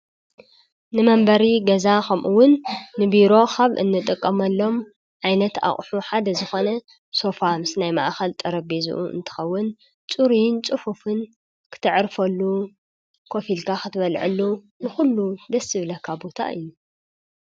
ንመንበሪ ገዛ ከምኡውን ንቢሮ ካብ እንጥቀመሎም ዓይነት ኣቑሑ ሓደ ዝኾነ ሶፋ ምስ ናይ ማእኸል ጠረጴዛኡ እንትኸውን ፅሩይን ፅፉፍን ክተዕርፈሉ ኮፍ ኣኢልካ ክትበሎዐሉ ንኹሉ ደስ ዝብለካ ቦታ እዩ።